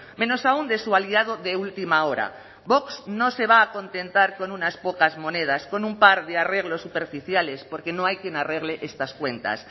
menos aún de su aliado de última hora vox no se va a contentar con unas pocas monedas con un par de arreglos superficiales porque no hay quién arregle estas cuentas